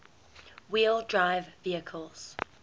wheel drive vehicles